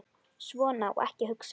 Svona á ekki að hugsa.